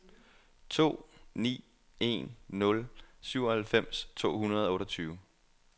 to ni en nul syvoghalvfems to hundrede og otteogtyve